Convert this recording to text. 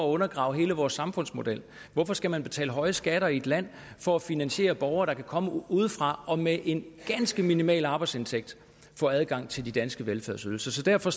undergraver hele vores samfundsmodel hvorfor skal man betale høje skatter i et land for at finansiere borgere der kommer udefra og med en ganske minimal arbejdsindtægt får adgang til de danske velfærdsydelser så derfor